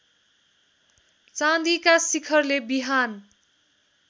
चाँदिका शिखरले बिहान